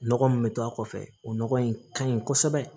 Nɔgɔ min bɛ to a kɔfɛ o nɔgɔ in ka ɲi kosɛbɛ